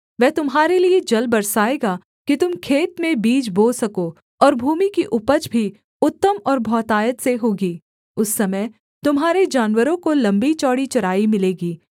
वह तुम्हारे लिये जल बरसाएगा कि तुम खेत में बीज बो सको और भूमि की उपज भी उत्तम और बहुतायत से होगी उस समय तुम्हारे जानवरों को लम्बीचौड़ी चराई मिलेगी